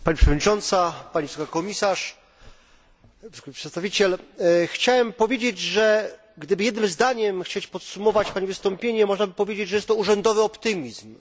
Pani przewodnicząca, pani wysoka przedstawiciel! Chciałem powiedzieć, że gdyby jednym zdaniem chcieć podsumować pani wystąpienie, można by powiedzieć, że jest to urzędowy optymizm.